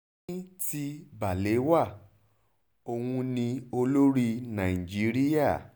ní ti balewa òun ni olórí nàìjíríà